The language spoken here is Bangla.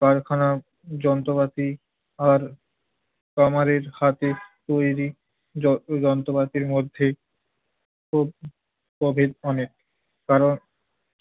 কারখানার যন্ত্রপাতি আর কামারের হাতের তৈরি য~ যন্ত্রপাতির মধ্যে তো প্রভেদ অনেক। কারণ